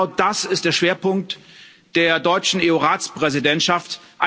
Genau das ist der Schwerpunkt der deutschen EU Ratspräsidentschaft.